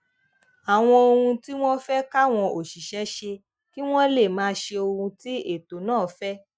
àwọn ohun tí wón fé káwọn òṣìṣé ṣe kí wón lè máa ṣe ohun tí ètò náà fé